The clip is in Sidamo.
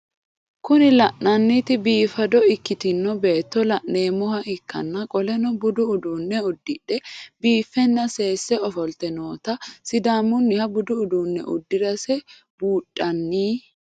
Kuni lan'enoti biffado ikitino beeto lanemoha ikan qoleno budu udune udidhe biifenna sese ofolite nootana sidamuniha budu udune udirase bundhani?